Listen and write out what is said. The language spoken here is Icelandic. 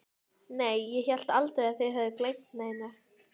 Gizur stóð við borðsenda og var að huga að pappírum.